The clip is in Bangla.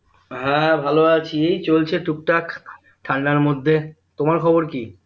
হ্যাঁ ভালোআছি চলছে টুকটাক ঠান্ডার মধ্যে তোমার খবর কি?